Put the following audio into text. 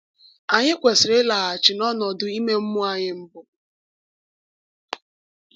Anyị kwesịrị ịlaghachi n’ọnọdụ ime mmụọ anyị mbụ.